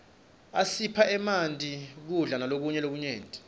isipha emanti kudla malokunye lokunyenti